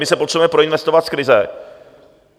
My se potřebujeme proinvestovat z krize.